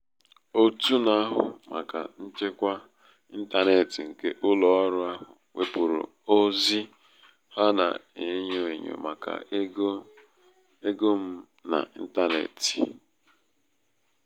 òtù na-ahụ màkà nchekwa ịntanetị nke ụlọ ọrụ ahụ wepụrụ ozi ha na-enyo enyo maka ego m n'intanetị.